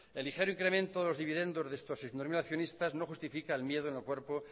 el ligero incremento de los dividendos de estos seiscientos mil accionistas no justifica el miedo en el cuerpo